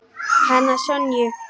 Hana Sonju?